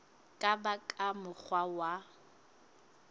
ka ba ka mokgwa wa